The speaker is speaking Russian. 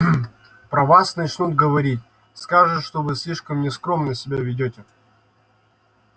про вас начнут говорить скажут что вы слишком нескромно себя ведёте